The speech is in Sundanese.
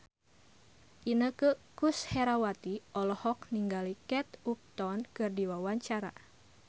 Inneke Koesherawati olohok ningali Kate Upton keur diwawancara